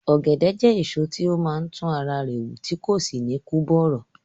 Ọ̀gẹ̀dẹ̀ jẹ́ èso tí ó máa ń tún ara rẹ̀ wù tí kò sì ní kú bọ̀rọ̀